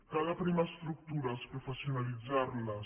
cal aprimar estructures professionalitzar·les